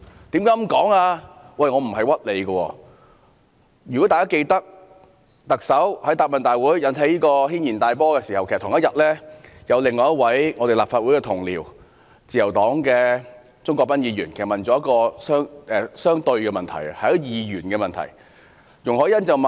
大家或許還記得，在特首於答問會引起軒然大波的同一天，另一位立法會同事，就是自由黨的鍾國斌議員提出了一項相對的質詢，是二元的問題。